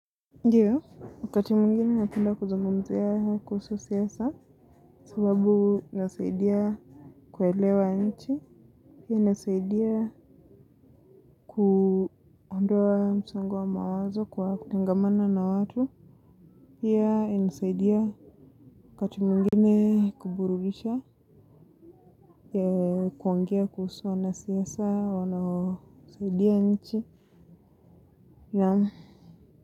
Ndiyo, wakati mwingine napenda kuzungumzia kuhusu siasa sababu inasaidia kuelewa nchi, inasaidia kuondoa msongo wa mawazo kwa kutangamana na watu, pia inasaidia wakati mwingine kuburudisha ya kuongea kuhusu wanasiasa wanaosaidia nchi.